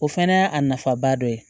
O fana y'a nafaba dɔ ye